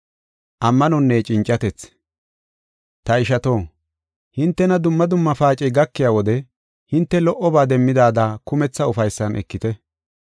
Ta ishato, hintena dumma dumma paacey gakiya wode hinte lo77oba demmidaada kumetha ufaysan ekite.